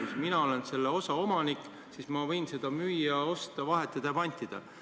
Kui mina olen selle osa omanik, siis ma võin seda müüa, osta, vahetada ja pantida.